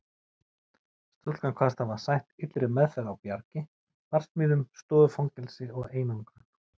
Stúlkan kvaðst hafa sætt illri meðferð á Bjargi, barsmíðum, stofufangelsi og einangrun.